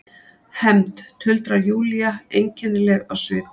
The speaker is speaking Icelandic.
Hefnd, tuldrar Júlía einkennileg á svip.